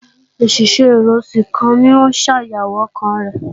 Òṣìṣẹ́ ẹ̀rọ síkànì ń ṣàyẹ̀wò ọkàn rẹ̀